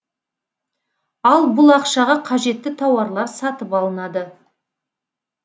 ал бұл ақшаға қажетті тауарлар сатып алынады